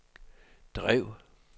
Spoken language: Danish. drev